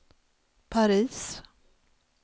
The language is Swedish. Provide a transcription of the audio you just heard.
Paris